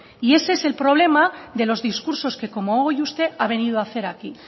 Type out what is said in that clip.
y ese es el problema de los discursos que como hoy usted ha venido hacer aquí